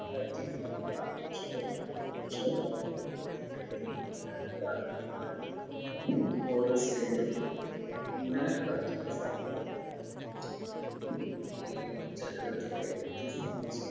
കത്തി ഉണ്ടാവുന്ന പുറത്തേക്കെത്തിക്കുന്നതിനെയാണ് വാ അഹ് Valve ഓരോ Cylinder ഉം ഇന്ധനം കത്തുന്ന സമയം അഹ് ചക്രത്തിൻറെ വ്യെത്യസ്ഥ